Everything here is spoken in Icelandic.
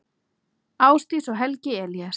Ásdís og Helgi Elías.